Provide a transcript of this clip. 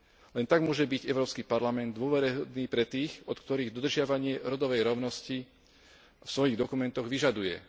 Len tak môže byť Európsky parlament dôveryhodný pre tých, od ktorých dodržiavanie rodovej rovnosti vo svojich dokumentoch vyžaduje.